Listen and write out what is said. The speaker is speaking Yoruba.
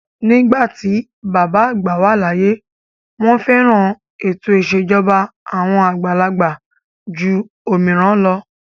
Nígbà tí bàbá àgbà láyé, wọ́n fẹ́ran ètò ìṣèjọba àwọn àgbàlagbà jù òmíràn lọ.